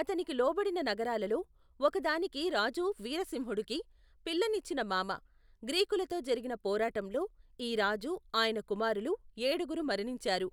అతనికి లోబడిన నగరాలలో, ఒకదానికి రాజు వీరసింహుడికి, పిల్లనిచ్చిన మామ, గ్రీకులతో జరిగిన పోరాటంలో, ఈ రాజూ ఆయన కుమారులు, ఏడుగురు మరణించారు.